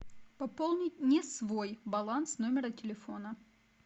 пополнить не свой баланс номера телефона